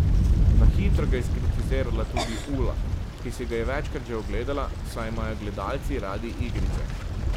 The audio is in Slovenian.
Na hitro ga je skritizirala tudi Ula, ki si ga je večkrat že ogledala, saj imajo gledalci radi igrice.